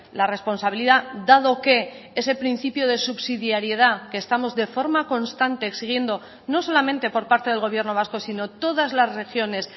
la responsabilidad dado que ese principio de subsidiariedad que estamos de forma constante exigiendo no solamente por parte del gobierno vasco sino todas las regiones